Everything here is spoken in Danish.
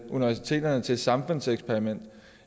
universiteterne til et samfundseksperiment